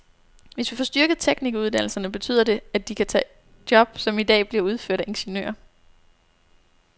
Hvis vi får styrket teknikeruddannelserne, betyder det, at de kan tage job, som i dag bliver udført af ingeniører.